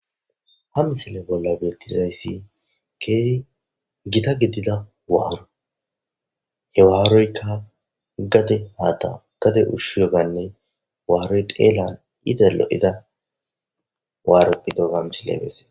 Ha missile bola betizayisi kehi gita gidida waro he waroyika gade haththa gade ushiyoganne waroy xelan loiza loiza waro gidoga ha missile beses.